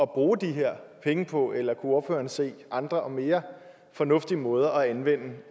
bruge de her penge på eller ordføreren se andre og mere fornuftige måder at anvende